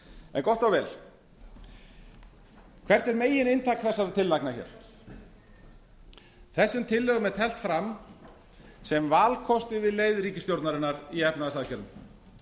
en gott og vel hvert er megin inntak þessara tillagna hér þessum tillögum er teflt fram sem valkosti við leið ríkisstjórnarinnar í efnahagsaðgerðum